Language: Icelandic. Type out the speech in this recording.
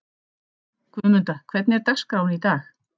Guðmunda, hvernig er dagskráin í dag?